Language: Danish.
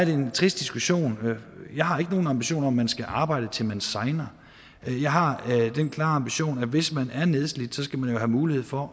en trist diskussion jeg har ikke nogen ambitioner man skal arbejde til man segner jeg har den klare ambition at hvis man er nedslidt skal man har mulighed for